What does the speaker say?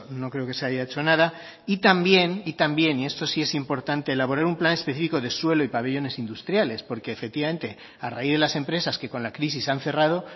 no creo que se haya hecho nada y también y también esto sí es importante elaborar un plan específico de suelo y pabellones industriales porque efectivamente a raíz de las empresas que con la crisis han cerrado